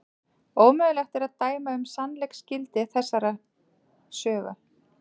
Ómögulegt er að dæma um sannleiksgildi þessarar sögu.